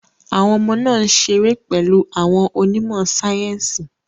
Àwọn ọmọ náà ń ṣeré pẹ̀lú àwọn onímọ̀ sáyẹ́sì.